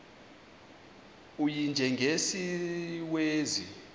u y njengesiwezi